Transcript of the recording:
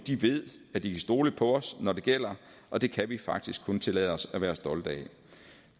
ved at de kan stole på os når det gælder og det kan vi faktisk kun tillade os at være stolte